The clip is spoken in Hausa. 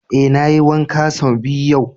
Eh, na yi wanka son biyu yau.